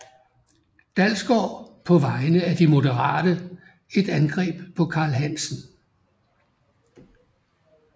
Dalsgaard på vegne af De Moderate et angreb på Carl Hansen